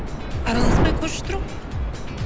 араласпай көрші тұру